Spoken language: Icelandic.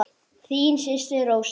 Þín systir Rósa.